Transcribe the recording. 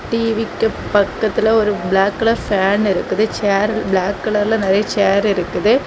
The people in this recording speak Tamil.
டீ_வி க்க பக்கத்துல ஒரு பிளாக் கலர் ஃபேன் இருக்குது சேர் பிளாக் கலர்ல நெறய சேர் இருக்குது.